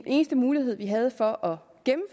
eneste mulighed vi havde for